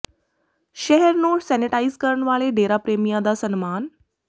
ਸ਼ਹਿਰ ਨੂੰ ਸੈਨੇਟਾਈਜ਼ ਕਰਨ ਵਾਲੇ ਡੇਰਾ ਪ੍ਰਰੇਮੀਆਂ ਦਾ ਸਨਮਾਨ